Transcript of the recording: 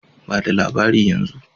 Ba da labari yanzu!